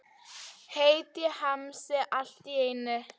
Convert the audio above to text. Heitt í hamsi allt í einu.